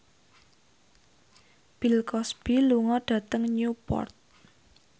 Bill Cosby lunga dhateng Newport